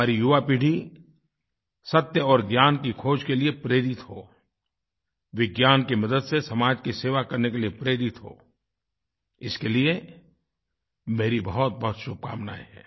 हमारी युवापीढ़ी सत्य और ज्ञान की खोज़ के लिए प्रेरित हो विज्ञान की मदद से समाज की सेवा करने के लिए प्रेरित हो इसके लिए मेरी बहुतबहुत शुभकामनाएँ हैं